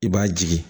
I b'a jigi